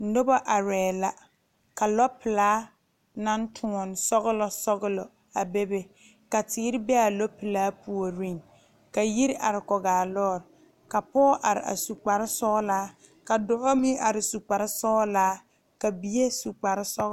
Nobɔ arɛɛ la ka lɔ pelaa naŋ tóɔne sɔglɔ sɔglɔ a bebe ka teere be a lɔ pelaa puoriŋ ka yiri are kɔgaa lɔɔre ka pɔɔ are a su kparesɔglaa ka dɔbɔ meŋ are su kparesɔglaa ka bie su kparesɔglaa.